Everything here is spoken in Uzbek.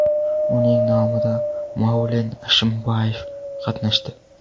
Uning nomida Maulen Ashimbayev qatnashdi.